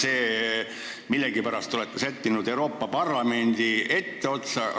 Te millegipärast olete sättinud Euroopa Parlamendi etteotsa.